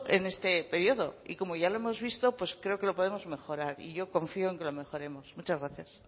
en este periodo y como ya lo hemos visto pues creo que lo podemos mejorar y yo confió en que lo mejoremos muchas gracias